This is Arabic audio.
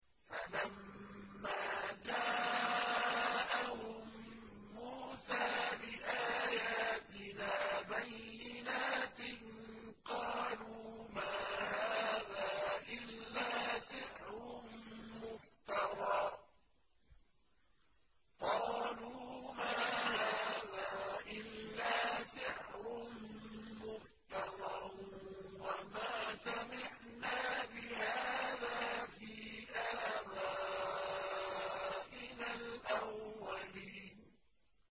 فَلَمَّا جَاءَهُم مُّوسَىٰ بِآيَاتِنَا بَيِّنَاتٍ قَالُوا مَا هَٰذَا إِلَّا سِحْرٌ مُّفْتَرًى وَمَا سَمِعْنَا بِهَٰذَا فِي آبَائِنَا الْأَوَّلِينَ